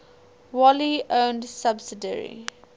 wholly owned subsidiary